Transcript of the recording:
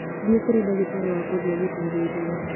Thiĩ kũrĩ ndagĩtarĩ wa ngothi agũthuthurie